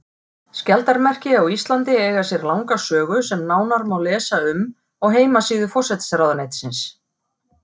Skjaldarmerki á Íslandi eiga sér langa sögu sem nánar má lesa um á heimasíðu forsætisráðuneytisins.